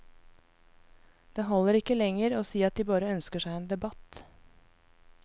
Det holder ikke lenger å si at de bare ønsker seg en debatt.